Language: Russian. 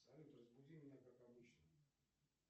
салют разбуди меня как обычно